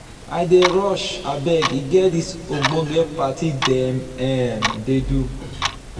i dey rush abeg e get dis ogbonge party dem um dey do.